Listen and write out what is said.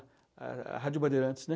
A a Rádio Bandeirantes, né?